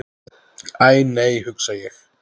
Æ, nei hugsa ég.